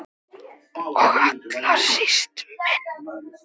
Og allra síst minn.